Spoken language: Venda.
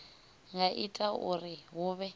nga ita uri hu vhe